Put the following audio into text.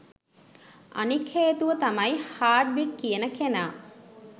අනික් හේතුව තමයි හාඩ්වික් කියන කෙනා